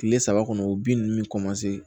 Tile saba kɔnɔ o bin ninnu bɛ